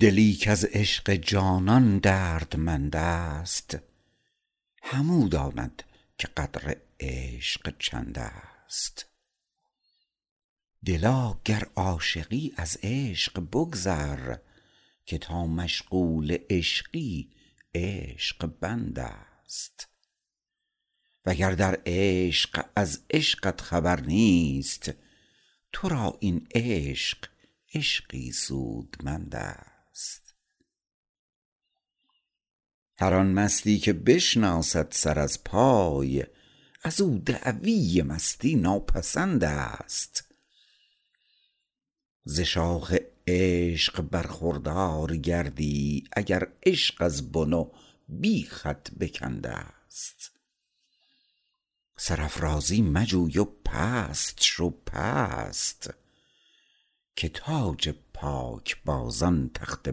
دلی کز عشق جانان دردمند است همو داند که قدر عشق چند است دلا گر عاشقی از عشق بگذر که تا مشغول عشقی عشق بند است وگر در عشق از عشقت خبر نیست تو را این عشق عشقی سودمند است هر آن مستی که بشناسد سر از پای ازو دعوی مستی ناپسند است ز شاخ عشق برخوردار گردی اگر عشق از بن و بیخت بکند است سرافرازی مجوی و پست شو پست که تاج پاک بازان تخته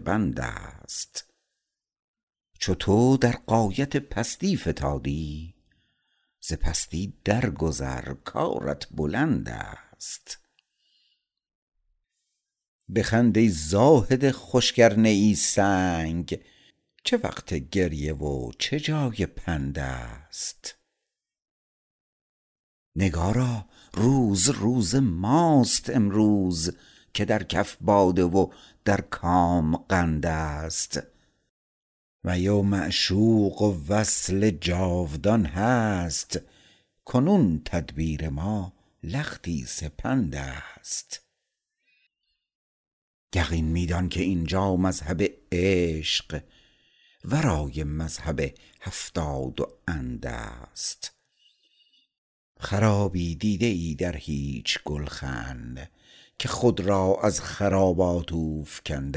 بند است چو تو در غایت پستی فتادی ز پستی در گذر کارت بلند است بخند ای زاهد خشک ارنه ای سنگ چه وقت گریه و چه جای پند است نگارا روز روز ماست امروز که در کف باده و در کام قند است می و معشوق و وصل جاودان هست کنون تدبیر ما لختی سپند است یقین می دان که اینجا مذهب عشق ورای مذهب هفتاد و اند است خرابی دیده ای در هیچ گلخن که خود را از خرابات اوفگند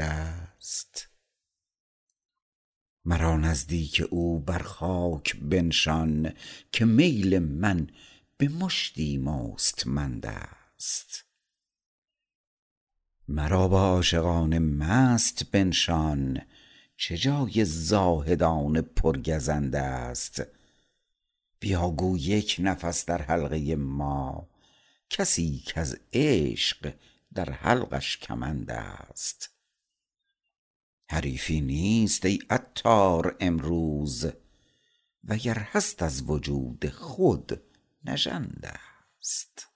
است مرا نزدیک او بر خاک بنشان که میل من به مشتی مستمند است مرا با عاشقان مست بنشان چه جای زاهدان پر گزند است بیا گو یک نفس در حلقه ما کسی کز عشق در حلقش کمند است حریفی نیست ای عطار امروز وگر هست از وجود خود نژند است